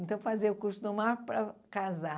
Então fazer o curso normal para casar.